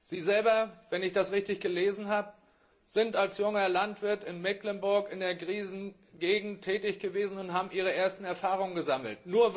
Sie selber wenn ich das richtig gelesen habe sind als junger Landwirt in Mecklenburg in der Krisengegend tätig gewesen und haben Ihre ersten Erfahrungen gesammelt.